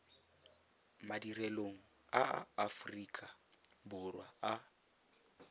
madirelong a aforika borwa a